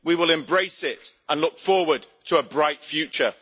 We will embrace it and look forward to a bright future.